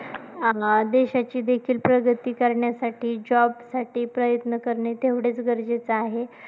अं देशाची देखील प्रगती करण्यासाठी job साठी प्रयत्न करणे तेवढेच गरजेचे आहे.